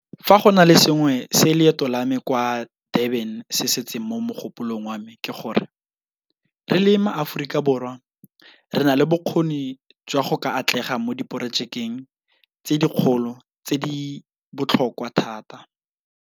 Fa go na le sengwe se leeto la me kwa Durban se setseng mo mogopolong wa me ke gore, re le maAforika Borwa re na le bokgoni jwa go ka atlega mo diporojekeng tse dikgolo le tse di botlhokwa thata.